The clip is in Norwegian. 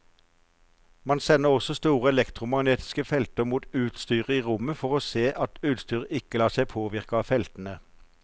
Man sender også store elektromagnetiske felter mot utstyret i rommet for å se at utstyret ikke lar seg påvirke av feltene.